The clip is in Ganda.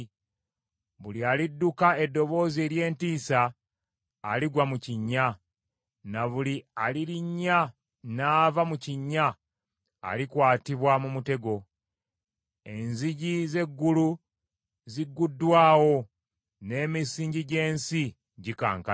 Buli alidduka eddoboozi ery’entiisa, aligwa mu kinnya, na buli alirinnya n’ava mu kinnya alikwatibwa mu mutego. Enzigi z’eggulu ziguddwawo, N’emisingi gy’ensi gikankana.